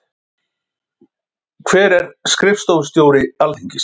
Hver er skrifstofustjóri Alþingis?